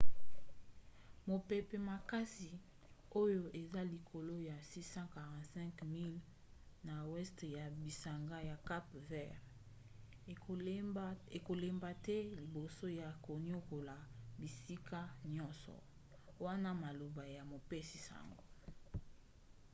mopepe makasi oyo eza likolo ya 645 miles 1040 km na weste ya bisanga ya cape vert ekolemba te liboso ya koniokola bisika nyonso wana maloba ya mopesi-sango